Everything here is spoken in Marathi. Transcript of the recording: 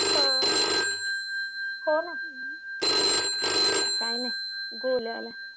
हो हो ना